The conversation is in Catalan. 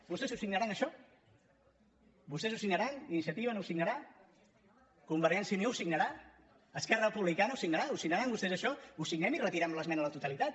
vostès ho signaran això vostès ho signaran iniciativa no ho signarà convergència i unió ho signarà esquerra republicana ho signarà ho signaran vostès això ho signem i retirem l’esmena a la totalitat